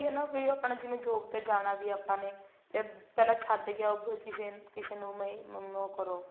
ਇਹੀ ਹੈ ਨਾ ਵੀ ਆਪਾਂ ਨੇ ਜਿਵੇਂ job ਤੇ ਜਾਣਾ ਆਪਾਂ ਨੇ ਤੇ ਪਹਿਲਾਂ ਛੱਡ ਕੇ ਆਓ ਕਿਸੇ ਨੂੰ ਕਿਸੇ ਨੂੰ ਮੈਨੂੰ ਉਹ ਕਰੋ